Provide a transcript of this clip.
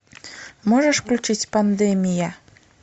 можешь включить пандемия